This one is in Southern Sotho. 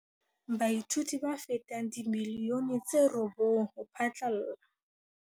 Baithuti ba fetang dimilione tse robong ho phatlalla